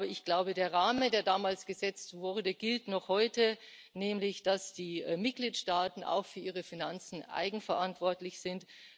Aber ich glaube, der Rahmen, der damals gesetzt wurde, gilt noch heute, nämlich dass die Mitgliedstaaten auch für ihre Finanzen eigenverantwortlich sind.